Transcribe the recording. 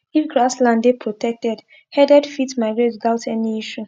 if grass land dey protected herded fit migrate without any issue